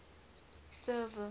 server